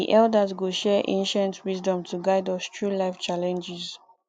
the elders go share ancient wisdom to guide us through life challenges